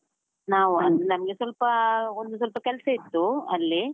ನಾವು ಅಂದ್ರೆ ನಮ್ಗೆ ಸ್ವಲ್ಪಾ, ಒಂದು ಸ್ವಲ್ಪ ಕೆಲಸ ಇತ್ತು ಅಲ್ಲಿ.